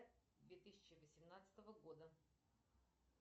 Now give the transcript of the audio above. две тысячи восемнадцатого года